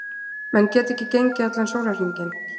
Menn geta ekki gengið allan sólarhringinn.